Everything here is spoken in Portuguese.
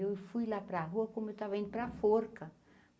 Eu fui lá pra rua como eu tava indo pra forca.